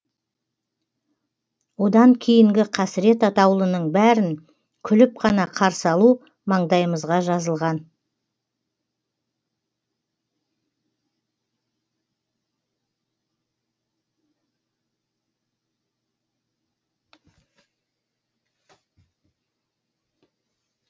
одан кейінгі қасірет атаулының бәрін күліп қана қарсы алу маңдайымызға жазылған